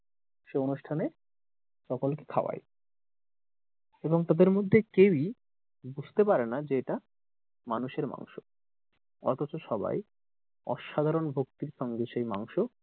সে অনুষ্ঠানে সকল কে খাওয়ায় এবং তাদের মধ্যে কেউই বুঝতে পারেনা যে এটা মানুষের মাংস অথচ সবাই অসাধারণ ভক্তির সঙ্গে সেই মাংস,